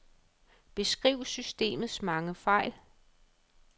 Beskriv systemets mange fejl.